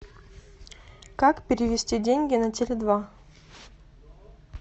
как перевести деньги на теле два